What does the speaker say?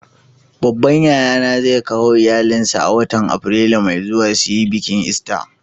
Babban yaya na zai kawo iyallin sa a'watan Afrilu mai zuwa su yi biki lsta.